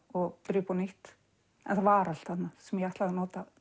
og byrja upp á nýtt en það var allt þarna sem ég ætlaði að nota